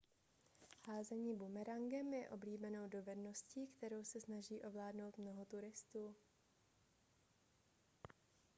házení bumerangem je oblíbenou dovedností kterou se snaží ovládnout mnoho turistů